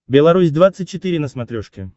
белорусь двадцать четыре на смотрешке